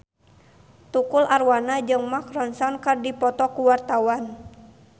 Tukul Arwana jeung Mark Ronson keur dipoto ku wartawan